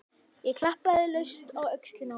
Ég klappaði laust á öxlina á honum.